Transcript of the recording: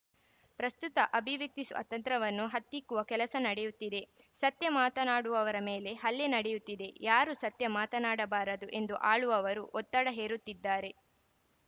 ಪ್ರಸ್ತುತ ಅಭಿವ್ಯಕ್ತಿ ಸ್ವಾತಂತ್ರ್ಯವನ್ನು ಹತ್ತಿಕ್ಕುವ ಕೆಲಸ ನಡೆಯುತ್ತಿದೆ ಸತ್ಯ ಮಾತನಾಡುವವರ ಮೇಲೆ ಹಲ್ಲೆ ನಡೆಯುತ್ತಿದೆ ಯಾರೂ ಸತ್ಯ ಮಾತನಾಡಬಾರದು ಎಂದು ಆಳುವವರು ಒತ್ತಡ ಹೇರುತ್ತಿದ್ದಾರೆ